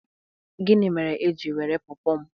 Gịnị mere i ji were Pọọpọ m?